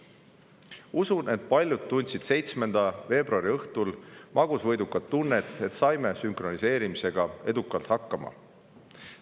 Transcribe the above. Usun, et paljud tundsid 7. veebruari õhtul magusvõidukat tunnet, kui saime sünkroniseerimisega edukalt hakkama.